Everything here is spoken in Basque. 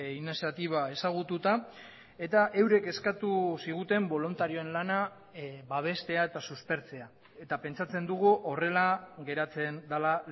iniziatiba ezagututa eta eurek eskatu ziguten boluntarioen lana babestea eta suspertzea eta pentsatzen dugu horrela geratzen dela